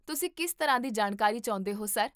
ਤੁਸੀਂ ਕਿਸ ਤਰ੍ਹਾਂ ਦੀ ਜਾਣਕਾਰੀ ਚਾਹੁੰਦੇ ਹੋ, ਸਰ?